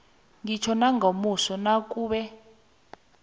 ngitjho nangomuso nakube